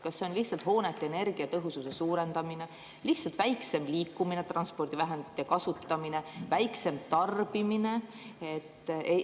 Kas see on lihtsalt hoonete energiatõhususe suurendamine, lihtsalt vähem liikumine, transpordivahendite kasutamine, väiksem tarbimine?